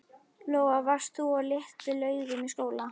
Lóa: Varst þú á Litlu-Laugum í skóla?